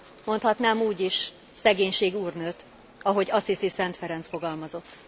Mondhatnám úgy is szegénység úrnőt, ahogy Assisi Szent Ferenc fogalmazott.